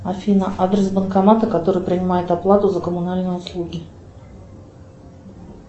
афина адрес банкомата который принимает оплату за коммунальные услуги